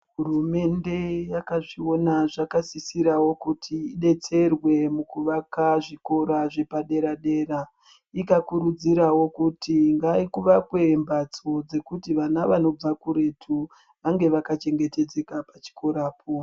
Hurumende yakazviona zvakasisirawo kuti idetserwe mukuvaka zvikora zvepaderadera ikakurudzirawo kuti ngakuvakwe mhatso kuti vana vanobva kuretu vange vakachengetedzeka pachikorapo.